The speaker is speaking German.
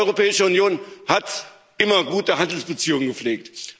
Die Europäische Union hat immer gute Handelsbeziehungen gepflegt.